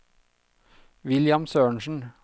William Sørensen